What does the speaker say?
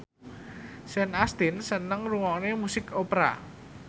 Sean Astin seneng ngrungokne musik opera